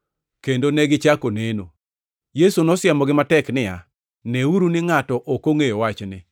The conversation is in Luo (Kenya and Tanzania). kendo negichako neno. Yesu nosiemogi matek niya, “Neuru ni ngʼato ok ongʼeyo wachni.”